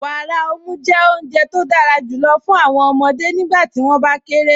Wàárà ọ̀mù jẹ́ ọ̀Unje tó dára júlọ̀ fún awọn ọmọde nígbàtí wọn bá kéré.